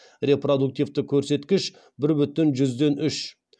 репродуктивті көрсеткіш бір бүтін жүзден үш